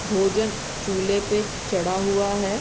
भोजन चूल्हे पे चढ़ा हुआ है।